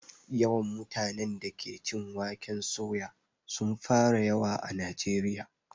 Yawan mutanen da ke cin waken soya sun fara yawa a najeriya